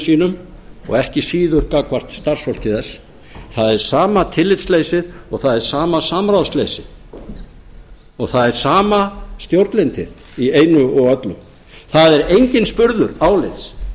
sínum og ekki síður gagnvart starfsfólki þess það er sama tillitsleysið og það er sama samráðsleysið það er sama stjórnlyndið í einu og öllu það er enginn spurður álits